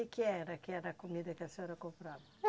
Que que era que era a comida que a senhora comprava?